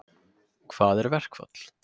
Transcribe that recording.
Hvað er verkfall?